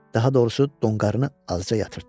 Daha doğrusu, donqarını azca yatırtdı.